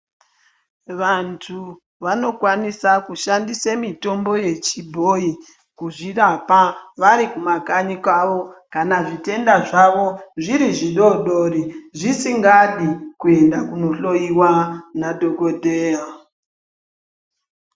Vantu vanokwanisa kushandisa mitombo yechibhoyi kuzvirapa vari kumakanyi kwawo kana zvitenda zvawo zviri zvidoodori zvisingadi kuenda kundohloiwa nadhokodheya.